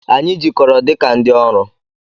Anyị jikọrọ dị ka ndị ọrụ.